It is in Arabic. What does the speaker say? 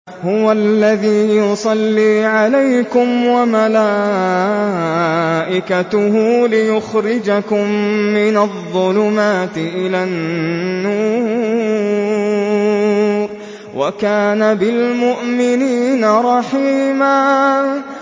هُوَ الَّذِي يُصَلِّي عَلَيْكُمْ وَمَلَائِكَتُهُ لِيُخْرِجَكُم مِّنَ الظُّلُمَاتِ إِلَى النُّورِ ۚ وَكَانَ بِالْمُؤْمِنِينَ رَحِيمًا